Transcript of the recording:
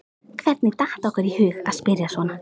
Hvernig datt okkur í hug að spyrja svona!